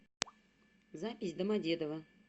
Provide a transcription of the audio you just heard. запись домодедово